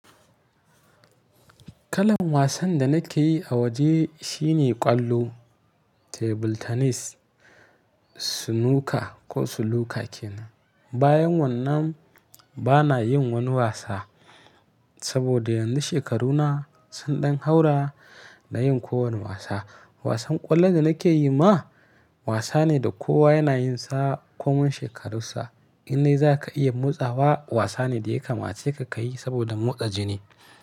Kalan wasan da nake yi a waje shine ƙwallo, table tennis, snooker ko suluka kenan. Bayan wannan bana yin wani wasa saboda yanzu shekaruna sun ɗan haura da yin kowani wasa. Wasan ƙwallon da nake yi ma wasa ne da kowa yana yinsa komai shekarunsa. In dai za ka iya motsawa wasa ne da ya kamace ka ka yi saboda motsa jini.